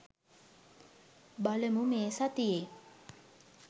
බලමු මේ සතියේ